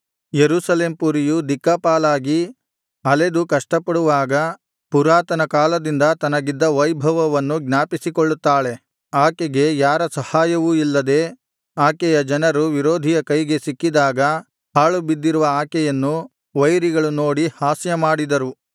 ಯೆರೂಸಲೇಮ್ ಪುರಿಯು ದಿಕ್ಕಾಪಾಲಾಗಿ ಅಲೆದು ಕಷ್ಟಪಡುವಾಗ ಪುರಾತನಕಾಲದಿಂದ ತನಗಿದ್ದ ವೈಭವವನ್ನು ಜ್ಞಾಪಿಸಿಕೊಳ್ಳುತ್ತಾಳೆ ಆಕೆಗೆ ಯಾರ ಸಹಾಯವೂ ಇಲ್ಲದೆ ಆಕೆಯ ಜನರು ವಿರೋಧಿಯ ಕೈಗೆ ಸಿಕ್ಕಿದಾಗ ಹಾಳುಬಿದ್ದಿರುವ ಆಕೆಯನ್ನು ವೈರಿಗಳು ನೋಡಿ ಹಾಸ್ಯಮಾಡಿದರು